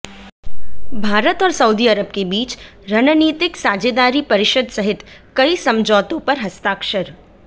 भारत और Saudi Arab के बीच रणनीतिक साझेदारी परिषद सहित कई समझौतों पर हस्ताक्षर